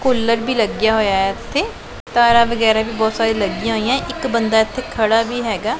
Cooler ਵੀ ਲੱਗਿਆ ਹੋਇਆ ਇੱਥੇ ਤਾਰਾ ਵਗੈਰਾ ਵੀ ਬਹੁਤ ਸਾਰੇ ਲੱਗੀਆਂ ਹੋਈਆਂ ਇੱਕ ਬੰਦਾ ਇਥੇ ਖੜਾ ਵੀ ਹੈਗਾ।